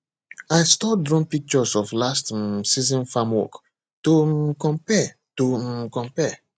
i store drone pictures of last um season farm work to um compare to um compare